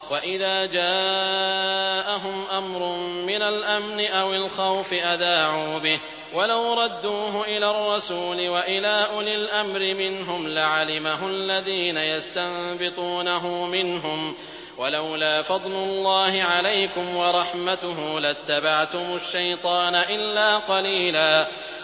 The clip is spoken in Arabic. وَإِذَا جَاءَهُمْ أَمْرٌ مِّنَ الْأَمْنِ أَوِ الْخَوْفِ أَذَاعُوا بِهِ ۖ وَلَوْ رَدُّوهُ إِلَى الرَّسُولِ وَإِلَىٰ أُولِي الْأَمْرِ مِنْهُمْ لَعَلِمَهُ الَّذِينَ يَسْتَنبِطُونَهُ مِنْهُمْ ۗ وَلَوْلَا فَضْلُ اللَّهِ عَلَيْكُمْ وَرَحْمَتُهُ لَاتَّبَعْتُمُ الشَّيْطَانَ إِلَّا قَلِيلًا